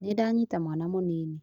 Nĩndanyita mwana mũnini